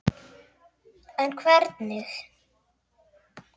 En hvernig?